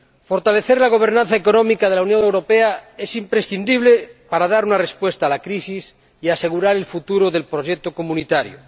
Fortalecer la gobernanza económica de la Unión Europea es imprescindible para dar una respuesta a la crisis y asegurar el futuro del proyecto comunitario.